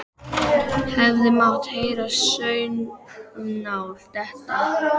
Hefði mátt heyra saumnál detta.